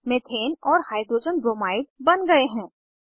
methane और hydrogen bromide बन गए हैं